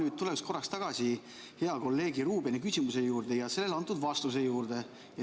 Ma tulen korraks tagasi hea kolleegi Ruubeni esitatud küsimuse ja sellele antud vastuse juurde.